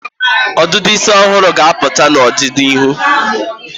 ọdịdị isi ọhụrụ ga-apụta n'ọdịnịhu.